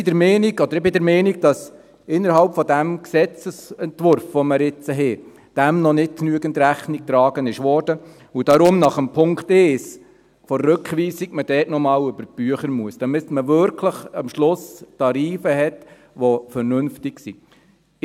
Wir sind der Meinung, oder ich bin der Meinung, dass dem innerhalb des Gesetzesentwurfs, den wir hier haben, noch nicht genügend Rechnung getragen wurde und dass man darum nach dem Punkt 1 der Rückweisung noch einmal über die Bücher gehen muss, damit man am Schluss wirklich Tarife hat, die vernünftig sind.